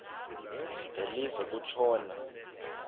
de live kutshona